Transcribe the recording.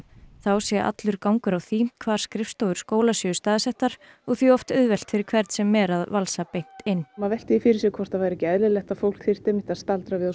þá sé allur gangur á því hvar skrifstofur skóla séu staðsettar og því oft auðvelt fyrir hvern sem er að valsa beint inn maður veltur því fyrir sér hvort það væri ekki eðlilegt að fólk þyrfti að staldra við